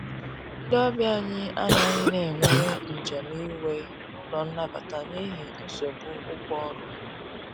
Ndi ọbịa anyi anaghi na enwere njem iwe n'ụlọ nabata n'ihi nsogbụ ụgwọ ọrụ